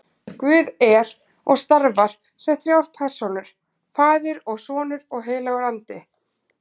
Guð er og starfar sem þrjár persónur, faðir og sonur og heilagur andi.